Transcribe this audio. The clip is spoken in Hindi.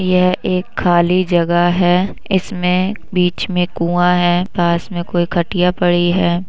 यह एक खाली जगह है इसमें बीच में कुआँ हैं पास में कोई खटिया पड़ी है।